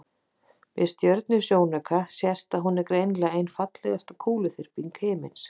með stjörnusjónauka sést að hún er greinilega ein fallegasta kúluþyrping himinsins